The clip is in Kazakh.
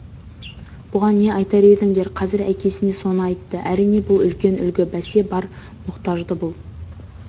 бұған не айтар едіңдер қазір әкесіне соны айтты әрине бұл үлкен үлгі бәсе бар мұқтажды бұл